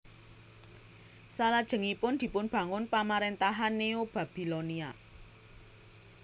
Salajengipun dipunbangun pamaréntahan Neobabbilonia